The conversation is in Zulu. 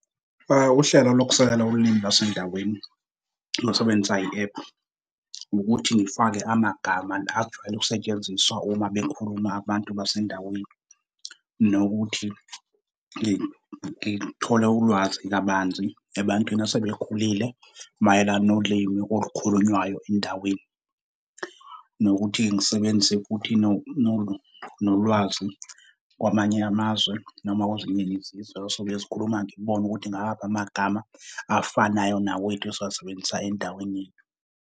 Uhlelo lokusekela ulimi lwasendaweni lokusebenzisa i-app ukuthi ngifake amagama la ajwayele ukusetshenziswa uma bekhuluma abantu basendaweni, nokuthi ngithole ulwazi kabanzi ebantwini asebekhulile mayelana nolimi olukhulunywayo endaweni. Nokuthi ngisebenzise futhi nolwazi kwamanye amazwe noma kwezinye izizwe esizobuye sikhuluma ngibone ukuthi ngawaphi amagama afanayo nawethu esiwasebenzisa endaweni yethu.